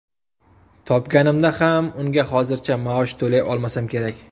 Topganimda ham unga hozircha maosh to‘lay olmasam kerak.